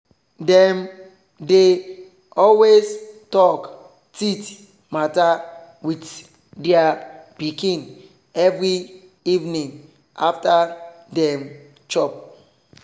dem they always talk teeth matter with their pikin every evening after dem chop